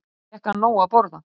Samt fékk hann nóg að borða.